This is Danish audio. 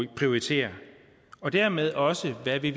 prioritere og dermed også hvad vi